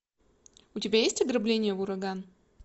у тебя есть ограбление в ураган